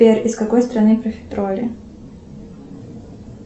сбер из какой страны профитроли